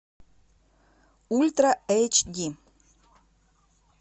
ультра эйч ди